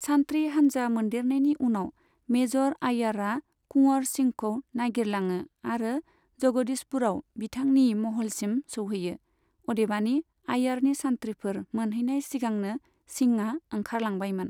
सान्थ्रि हान्जा मोनदेरनायनि उनाव, मेजर आईयारआ कुंवर सिंहखौ नागिरलाङो आरो जगदीसपुरआव बिथांनि महलसिम सौहैयो, अदेबानि आइयारनि सान्थ्रिफोर मोनहैनाय सिगांनो सिंहआ ओंखारलांबायमोन।